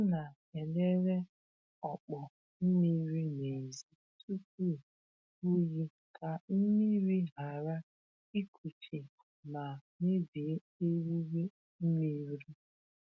Ọ na-elele ọkpọ mmiri n’èzí tupu oyi ka mmiri ghara ịkuchi ma mebie eriri mmiri.